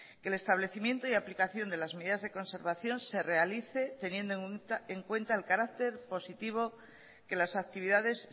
que el establecimiento y aplicación de las medidas de conservación se realice teniendo en cuenta el carácter positivo que las actividades